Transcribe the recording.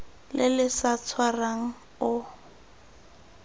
le le sa tshwarang o